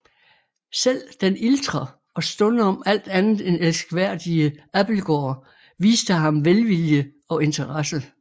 Selv den iltre og stundom alt andet end elskværdige Abildgaard viste ham velvilje og interesse